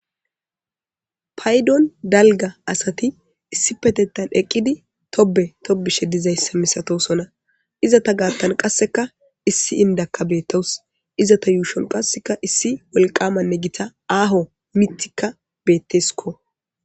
Paydon dalga asati issi petetan eqqidi tobe tobishe dizayssa misatosona iza ta gaattan qasseka issi indakka bettawus izata yuushon qasseka issi wolqamanne gita aaho mitikka betteskko